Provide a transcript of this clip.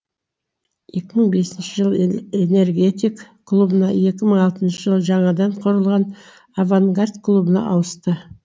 екі мың бесінші жылы энергетик клубына екі мың алтыншы жылы жаңадан құрылған авангард клубына ауысты